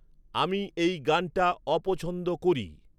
আমি এই গানটা অপছন্দ করি